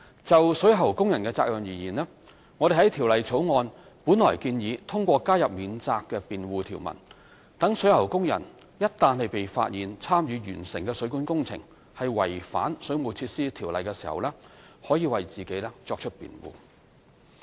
就水喉工人的責任而言，我們本來在《條例草案》建議通過加入免責辯護條文，讓水喉工人一旦被發現參與完成的水管工程違反《水務設施條例》時，可為自己作出辯護。